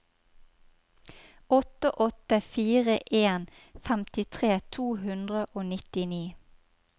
åtte åtte fire en femtitre to hundre og nittini